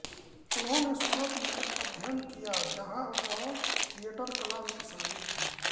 उन्होंने सूरत में अध्ययन किया जहां वह थिएटर कला में शामिल थे